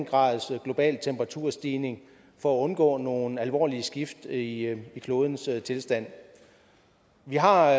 grads global temperaturstigning for at undgå nogle alvorlige skift i klodens tilstand vi har